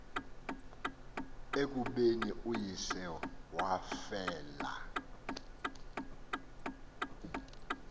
ekubeni uyise wafela